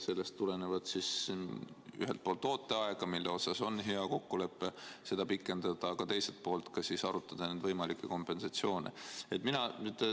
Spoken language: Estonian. Sellest tulenevalt on ühelt poolt ooteaja koha pealt hea kokkulepet pikendada, aga teiselt poolt tuleks arutada võimalikke kompensatsioonimeetmeid.